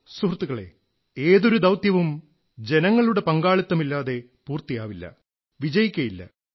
സുഹൃത്തുക്കളേ ഏതൊരു ദൌത്യവും ജനങ്ങളുടെ പങ്കാളിത്തമില്ലാതെ പൂർത്തിയാവില്ല വിജയിക്കയില്ല